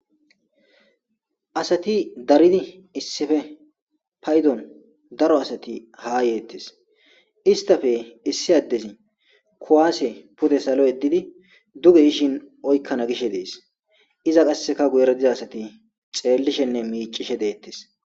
asati daridi issife paydon daro asati haa yeettes istafe issi addezi kuwaasse pude salo yeddidi duge gishin oykkana gishe dees iza qasseka guyeradiza asati xeellishenne miicishe deettes